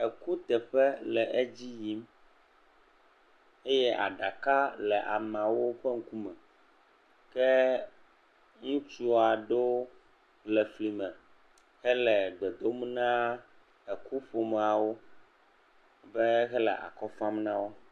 ekuteƒe le edziyim ye aɖaka le wóƒe ŋkume ke ŋutsuaɖewo le efli me hele gbedom na eku ƒomawo be hele akɔfam nawo